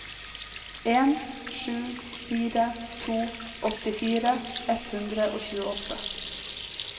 en sju fire to åttifire ett hundre og tjueåtte